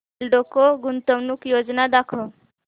एल्डेको गुंतवणूक योजना दाखव